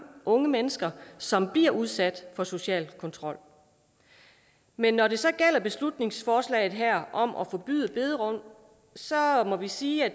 unge mennesker som bliver udsat for social kontrol men når det så gælder beslutningsforslaget her om at forbyde bederum må vi sige at